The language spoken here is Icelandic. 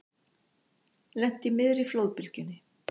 Lenti í miðri flóðbylgjunni